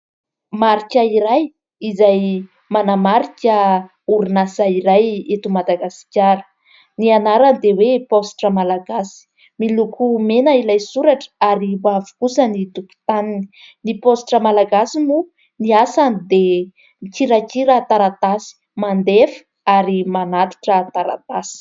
Marika iray izay manamarika orinasa iray eto Madagasikara. Ny anarany dia hoe Paositra Malagasy. Miloko mena ilay soratra ary mavo kosa ny tokotaniny. Ny Paositra Malagasy moa, ny asany dia mikirakira taratasy, mandefa ary manatitra taratasy.